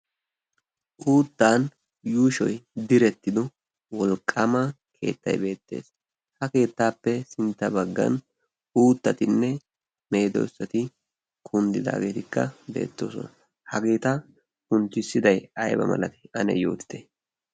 uuttan yuushoi direttido wolqqama keettai beettees. ha keettaappe sintta baggan uuttatinne meedoossati kunddidaageetikka deettoosona. hageeta kunccissidai ayba malakee ane yootite.